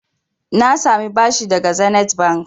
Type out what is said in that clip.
Na sami bashi daga Zenith Bank.